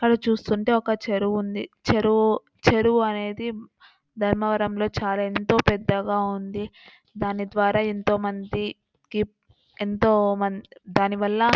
ఇక్కడ చూస్తుంటే ఒక చెరువు ఉంది. చెరువు-చెరువు అనేది ధర్మవరం లో చాలా ఎంతో పెద్దగా ఉంది. దాని ద్వారా ఎంతో మంది కి ఎంతో మన్ దాని వల్ల ఆ--